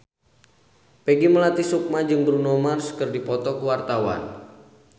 Peggy Melati Sukma jeung Bruno Mars keur dipoto ku wartawan